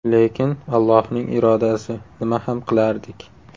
Lekin Allohning irodasi, nima ham qilardik.